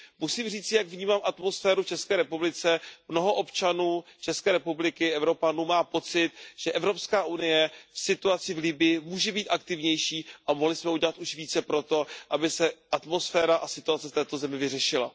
Musím říci, jak vnímám atmosféru v České republice, mnoho občanů České republiky, Evropanů, má pocit, že Evropská unie v situaci v Libyi může být aktivnější a mohli jsme udělat už více pro to, aby se atmosféra a situace v této zemi vyřešila.